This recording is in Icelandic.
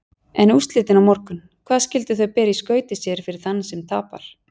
En úrslitin á morgun, hvað skyldu þau bera í skauti sér fyrir þann sem tapar?